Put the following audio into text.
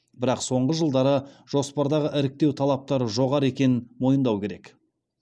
бірақ соңғы жылдары жоспардағы іріктеу талаптары жоғары екенін мойындау керек